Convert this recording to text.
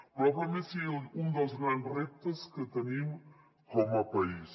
probablement és un dels grans reptes que tenim com a país